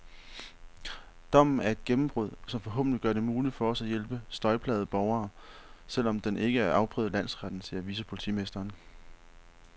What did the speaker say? Dommen er et gennembrud, som forhåbentlig gør det muligt for os at hjælpe støjplagede borgere, selv om den ikke er afprøvet i landsretten, siger vicepolitimesteren.